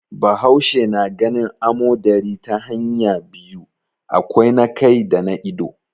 Bahaushe na ganin amodari ta hanya biyu, akwai na kai da na ido.